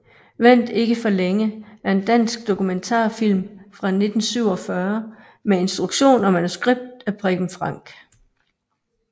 Vent ikke for længe er en dansk dokumentarfilm fra 1947 med instruktion og manuskript af Preben Frank